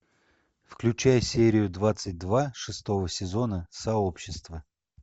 включай серию двадцать два шестого сезона сообщество